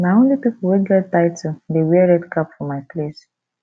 na only pipo wey get title dey wear red cap for my place